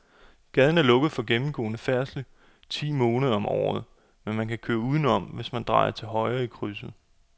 Gaden er lukket for gennemgående færdsel ti måneder om året, men man kan køre udenom, hvis man drejer til højre i krydset.